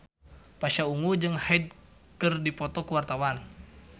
Pasha Ungu jeung Hyde keur dipoto ku wartawan